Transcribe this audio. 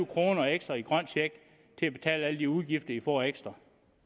kroner ekstra i grøn check til at betale alle de udgifter i får ekstra